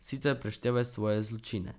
Sicer preštevaj svoje zločine.